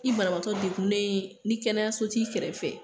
I banabatɔ dekunnen ye, ni kɛnɛya so t'i kɛrɛ fɛ!